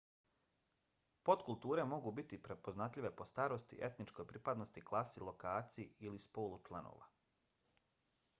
podkulture mogu biti prepoznatljive po starosti etničkoj pripadnosti klasi lokaciji i/ili spolu članova